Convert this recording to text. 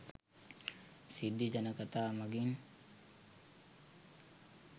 සිද්ධි ජනකතා මඟින්